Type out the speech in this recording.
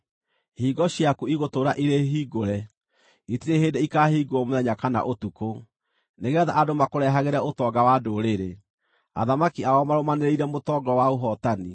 Ihingo ciaku igũtũũra irĩ hingũre, itirĩ hĩndĩ ikaahingwo mũthenya kana ũtukũ, nĩgeetha andũ makũrehagĩre ũtonga wa ndũrĩrĩ, athamaki ao marũmanĩrĩire mũtongoro wa ũhootani.